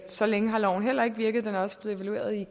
så længe har loven heller ikke virket den er også blevet evalueret i